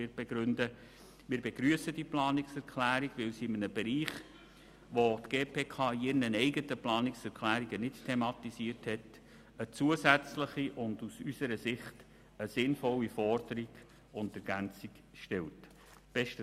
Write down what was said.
Wir begrüssen sie, weil sie in einem Bereich, den die GPK in ihren eigenen Planungserklärungen nicht thematisiert hat, eine zusätzliche und unseres Erachtens sinnvolle Forderung und Ergänzung darstellt.